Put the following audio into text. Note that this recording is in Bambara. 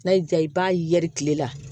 N'a y'i diya i b'a yɛrɛ tile la